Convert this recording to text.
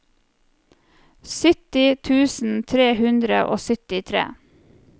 sytti tusen tre hundre og syttitre